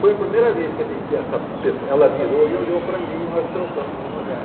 Foi a primeira vez que a me que essa pesso ela virou e olhou para mim, nós trocamos um olhar.